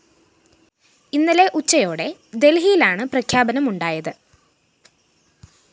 ഇന്നലെ ഉച്ചയോടെ ദല്‍ഹിയിലാണ്‌ പ്രഖ്യാപനം ഉണ്ടായത്‌